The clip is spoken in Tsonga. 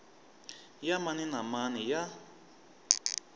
ya mani na mani ya